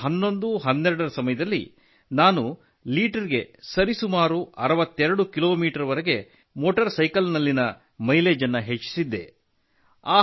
201112ರ ಸಮಯದಲ್ಲಿ ನಾನು ಲೀಟರ್ ಗೆ ಸರಿಸುಮಾರು 62 ಕಿಲೋಮೀಟರ್ ವರೆಗೆ ಮೋಟಾರ್ ಸೈಕಲ್ಲಿನ ಮೈಲೇಜ್ ಅನ್ನು ಹೆಚ್ಚಿಸಿದ್ದೆ